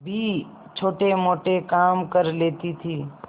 भी छोटेमोटे काम कर लेती थी